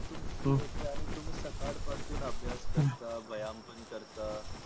आन्ही तुम्ही साकड पासून अभ्यास करता व्यायाम पण करता.